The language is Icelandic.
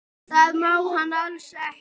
Það má hann alls ekki.